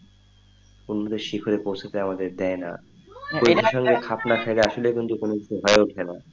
অনুবেশ্যিক হয়ে পৌঁছাতে আমাদের দেয়না এদের সঙ্গে খাপ না খায়া আসলেই কিন্তু কোনো কিছু হয়ে ওঠে না,